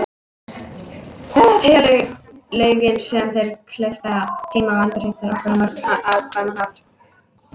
Teygjanleikinn gerir þeim kleift að geyma og endurheimta orku á mjög hagkvæman hátt.